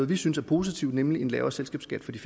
vi synes er positivt nemlig en lavere selskabsskat på de